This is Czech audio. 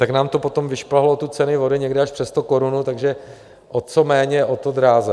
Tak nám to potom vyšplhalo tu cenu vody někde až přes sto korun, takže o co méně, o to dráže.